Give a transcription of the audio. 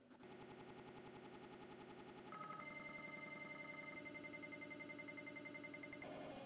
Hver er mesti karakterinn í deildinni?